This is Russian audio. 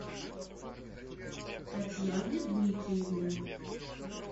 татьяне дмитриевне